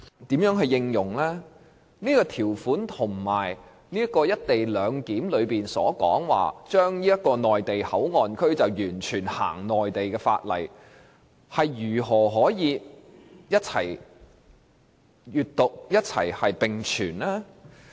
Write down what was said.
這項條文與"一地兩檢"安排所指，內地口岸區完全實施內地法例，如何可以一併理解和並存？